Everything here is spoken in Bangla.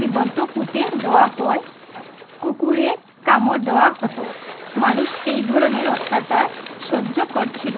জীবন্ত পুঁতে দেওয়া হয়, কুকুরে কামড় দেওয়া হত মানুষ যেই ধরনের অত্যাচার সহ্য করছিল